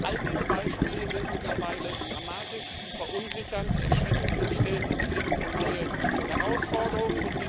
All diese Beispiele sind mittlerweile dramatisch, verunsichernd, erschreckend und stellen uns vor neue Herausforderungen.